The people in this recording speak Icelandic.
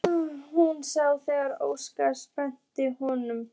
Hún sá þegar Óskar sleppti honum.